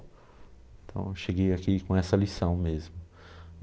Então, cheguei aqui com essa lição mesmo.